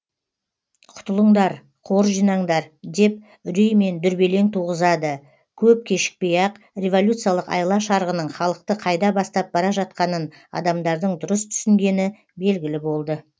құтылыңдар қор жинаңдар деп үрей мен дүрбелең туғызады көп кешікпей ақ революциялық айла шарғының халықты қайда бастап бара жатқанын адамдардың дұрыс түсінгені белгілі болды